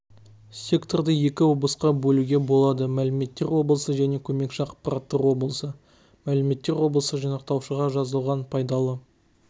секторды екі облысқа бөлуге болады мәліметтер облысы және көмекші ақпараттар облысы мәліметтер облысы жинақтаушыға жазылған пайдалы